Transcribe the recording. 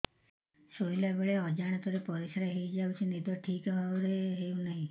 ଶୋଇଲା ବେଳେ ଅଜାଣତରେ ପରିସ୍ରା ହୋଇଯାଉଛି ନିଦ ଠିକ ଭାବରେ ହେଉ ନାହିଁ